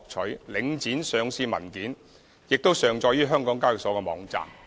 另外，領匯當年的上市文件也上載於香港交易所網站。